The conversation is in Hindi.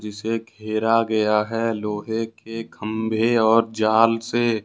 इसे घेरा गया है लोहे के खंभे और जाल से।